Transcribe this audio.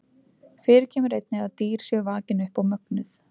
Fyrir kemur einnig að dýr séu vakin upp og mögnuð.